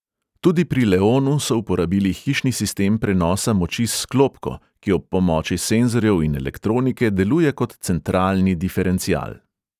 Tudi pri leonu so uporabili hišni sistem prenosa moči s sklopko, ki ob pomoči senzorjev in elektronike deluje kot centralni diferencial.